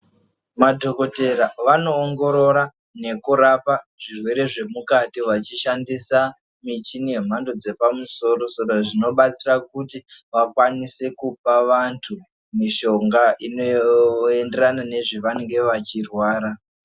Madhokotera vanowongorora nekurapa zvirwere zvemukati vachishandisa michini yemhando dzepamusoro soro zvichibatsira kuti vakwanise kupa vantu mishonga inoenderana nezvavanenge vachirwara